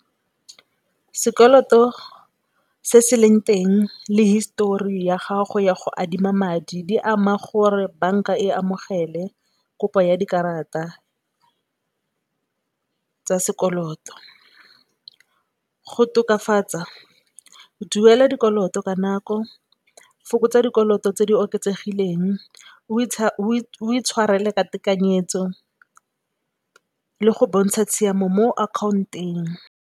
Sekoloto se se leng teng le histori ya gago ya go adima madi di ama gore banka e amogele kopo ya dikarata tsa sekoloto. Go tokafatsa, duela dikoloto ka nako, fokotsa dikoloto tse di oketsegileng o itshwarele ka tekanyetso le go bontsha tshiamo mo account-ong.